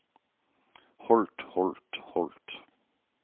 holdt holdt holdt